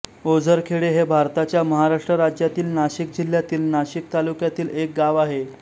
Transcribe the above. ओझरखेडे हे भारताच्या महाराष्ट्र राज्यातील नाशिक जिल्ह्यातील नाशिक तालुक्यातील एक गाव आहे